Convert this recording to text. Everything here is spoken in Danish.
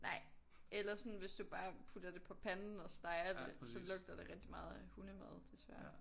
Nej eller sådan hvis du bare putter det på panden og steger det så lugter det rigtig meget af hundemad desværre